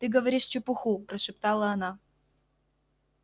ты говоришь чепуху прошептала она